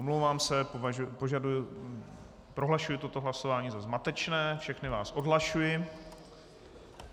Omlouvám se, prohlašuji toto hlasování za zmatečné, všechny vás odhlašuji.